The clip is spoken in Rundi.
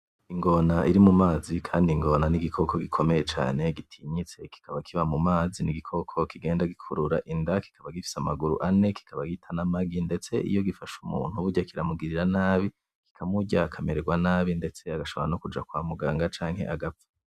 Ingona iri mumazi kandi ingona n’igikoko gikomeye cane gitinyiste kikaba kiba mu mazi n’igikoko kigenda gikurura inda ,kikiba gifise amaguru ane ,kikaba gita n’amagi ,ndeste iyo gifashe umuntu burya kiramungirira nabi kikamurya akamererwa nabi arashombora kunja kwa mungaga canke agapfa.